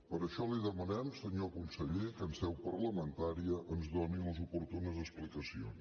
per això li demanem senyor conseller que en seu parlamentària ens doni les oportunes explicacions